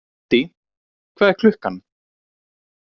Haddý, hvað er klukkan?